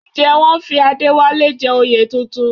Ǹjẹ́ wọ́n fi Adéwálé jẹ oyè tuntun?